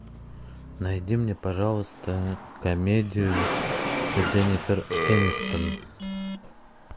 найди мне пожалуйста комедию с дженнифер энистон